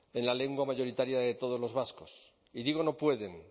en la lengua mayoritaria de todos los vascos y digo no pueden